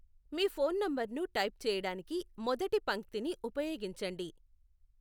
మీ phone నంబర్ను type చేయడానికి మొదటి పంక్తిని ఉపయోగించండి.